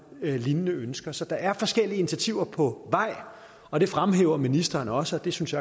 lignende ønsker så der er forskellige initiativer på vej og det fremhæver ministeren også og det synes